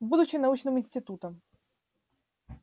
будучи научным институтом